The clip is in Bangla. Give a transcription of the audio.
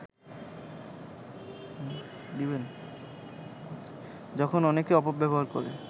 যখন অনেকে অপব্যবহার করে